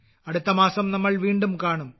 അടുത്ത മാസം നമ്മൾ വീണ്ടും കാണും